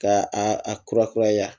Ka a a kura kuraya